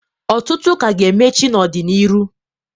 Ọtụtụ k' a ga-emechi n'ọdị n'iru.